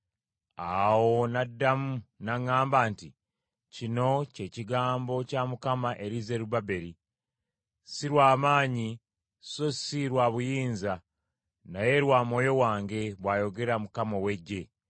Awo n’addamu n’aŋŋamba nti, “Kino kye kigambo kya Mukama eri Zerubbaberi: ‘Si lwa maanyi so si lwa buyinza naye lwa Mwoyo wange,’ bw’ayogera Mukama ow’Eggye.